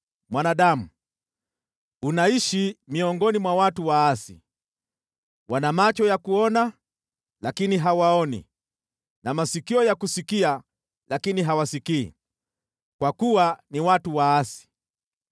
“Mwanadamu, unaishi miongoni mwa watu waasi. Wana macho ya kuona, lakini hawaoni na masikio ya kusikia lakini hawasikii, kwa kuwa ni watu waasi.